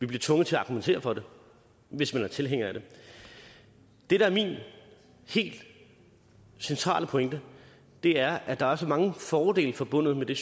bliver tvunget til at argumentere for det hvis man er tilhænger af det det der er min helt centrale pointe er at der er så mange fordele forbundet med det